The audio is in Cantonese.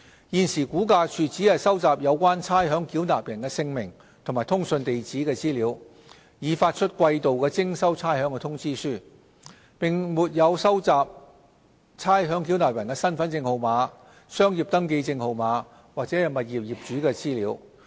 現時估價署只收集有關差餉繳納人姓名及通訊地址的資料，以發出季度徵收差餉通知書，並沒有收集差餉繳納人的身份證號碼、商業登記證號碼或物業業主的資料。